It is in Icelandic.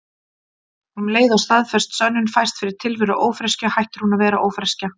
Um leið og staðfest sönnun fæst fyrir tilveru ófreskju hættir hún að vera ófreskja.